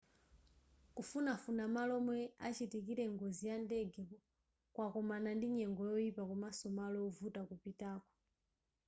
kufunafuna malo omwe achitikira ngozi ya ndege kwakomana ndi nyengo yoyipa komaso malo ovuta kupitako